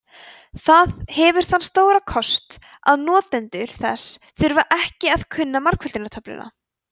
það hefur þann stóra kost að notendur þess þurfa ekki að kunna margföldunartöfluna